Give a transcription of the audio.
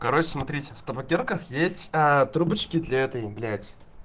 короче смотрите в табакерках есть трубочки для этой блять